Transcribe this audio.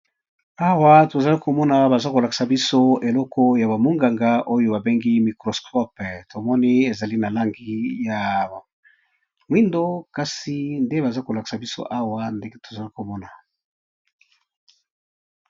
Awa tozali komona baza kolakisa biso eleko ya bamonganga oyo babengi microscope, tomoni ezali na langi ya mwindo kasi nde baza kolakisa biso awa ndenge tozali komona.